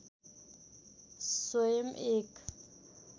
स्वयं एक